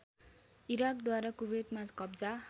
इराकद्वारा कुवेतमा कब्जा